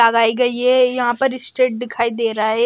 लगाई गई है यहां पर स्ट्रेट दिखाई दे रहा है।